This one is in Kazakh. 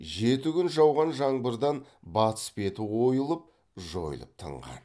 жеті күн жауған жаңбырдан батыс беті ойылып жойылып тынған